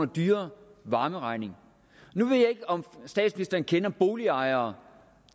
dyrere varmeregning nu ved jeg ikke om statsministeren kender boligejere